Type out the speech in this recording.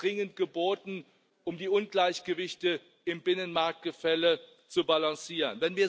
Das ist dringend geboten, um die Ungleichgewichte im Binnenmarktgefälle zu balancieren.